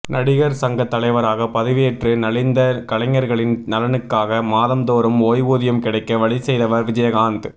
நடிகர் சங்க தலைவராக பதவியேற்று நலிந்த கலைஞர்களின் நலனுக்காக மாதம் தோறும் ஓய்வூதியம் கிடைக்க வழி செய்தவர் விஜயகாந்த்